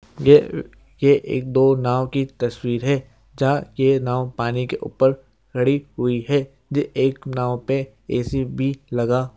ये एक दो नाव की तस्वीर है जहां ये नाव पानी के ऊपर खड़ी हुई है ये एक नाव पे ए_सी भी लगा हुआ--